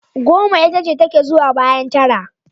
Goma itace take zuwa bayan tara.